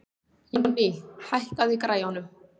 Jónný, hækkaðu í græjunum.